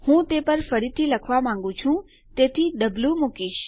હું તે પર ફરીથી લખવા માંગું છે તેથી હું વો મૂકીશ